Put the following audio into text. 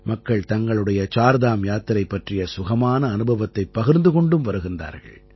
மக்கள் தங்களுடைய சார்தாம் யாத்திரை பற்றிய சுகமான அனுபவத்தைப் பகிர்ந்து கொண்டும் வருகிறார்கள்